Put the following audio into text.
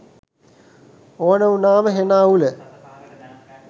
ඕන උනාම හෙන අවුල